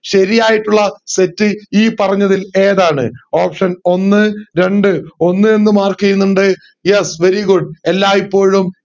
ശരിയായിട്ടുള്ള തെറ്റ് ഈ പറഞ്ഞതിൽ ഏതാണ് option ഒന്ന് രണ്ട് ഒന്ന് എന്ന് mark ചെയ്യുന്നുണ്ട് yes very good എല്ലായ്പോഴും